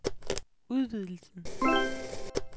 udvidelsen